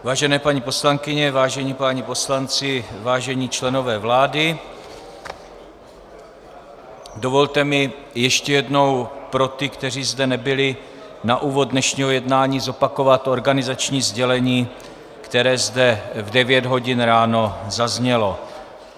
Vážené paní poslankyně, vážení páni poslanci, vážení členové vlády, dovolte mi ještě jednou pro ty, kteří zde nebyli, na úvod dnešního jednání zopakovat organizační sdělení, které zde v devět hodin ráno zaznělo.